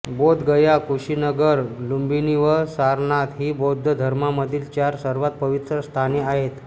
बोधगया कुशीनगर लुंबिनी व सारनाथ ही बौद्ध धर्मामधील चार सर्वात पवित्र स्थाने आहेत